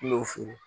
N y'o furu